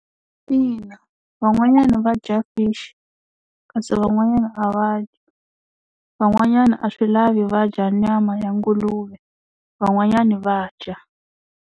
Ina van'wanyana va dya fishi kasi van'wanyana a va dyi van'wanyana a swi lavi va dya nyama ya nguluve van'wanyana va dya.